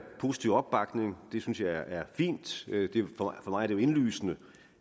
positiv opbakning det synes jeg er fint for mig jo indlysende